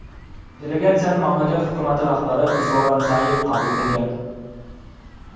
Delegatsiyani mamlakat hukumati rahbari Zoran Zayev qabul qilgan.